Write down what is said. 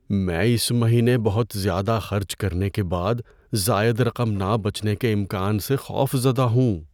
میں اس مہینے بہت زیادہ خرچ کرنے کے بعد زائد رقم نہ بچنے کے امکان سے خوفزدہ ہوں۔